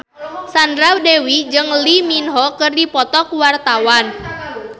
Sandra Dewi jeung Lee Min Ho keur dipoto ku wartawan